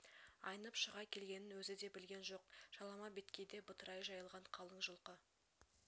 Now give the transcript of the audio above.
айнып шыға келгенін өзі де білген жоқ жалама беткейде бытырай жайылған қалың жылқы